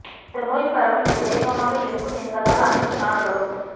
இந்த நோய் பரவல் மிக வேகமாக இருக்கும் என்பதால் அனைத்து நாடுகளும்